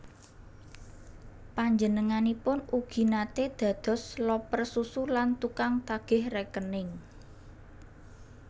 Panjenenganipun ugi naté dados loper susu lan tukang tagih rékening